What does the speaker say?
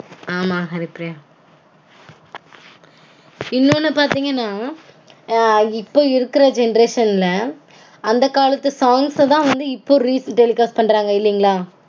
ஆமா ஹரிப்பிரியா. இன்னொன்னு பாத்தீங்கனா இப்போ இருக்கற generation -ல அந்த காலத்து songs -தா வந்து இப்போ retelecast பண்றாங்க இல்லீங்களா?